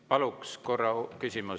Paluks korra küsimus …